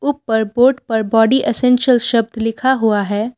ऊपर बोर्ड पर body essential शब्द लिखा हुआ है।